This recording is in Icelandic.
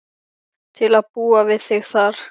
Til að búa við þig þar.